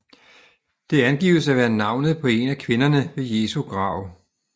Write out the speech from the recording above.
Det angives at være navnet på en af kvinderne ved Jesu grav